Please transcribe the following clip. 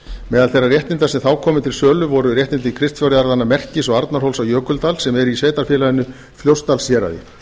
meðal þeirra réttinda sem þá komu til sölu voru réttindi kristfjárjarðanna merkis og arnarhóls á jökuldal sem eru í sveitarfélaginu fljótsdalshéraði